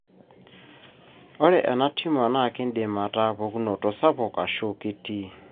ore ena tumor na kindim ata pukunoto sapuk ashu kitii.